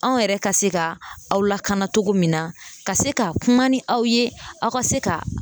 Anw yɛrɛ ka se ka aw lakana cogo min na ka se ka kuma ni aw ye aw ka se ka